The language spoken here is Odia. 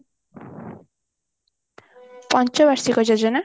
ପଞ୍ଚ ବାର୍ଷିକ ଯୋଜନା